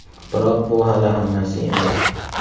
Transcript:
Biroq bu hali hammasi emas!